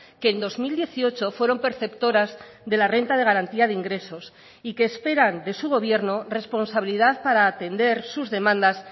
que en dos mil dieciocho fueron perceptoras de la renta de garantía de ingresos y que esperan de su gobierno responsabilidad para atender sus demandas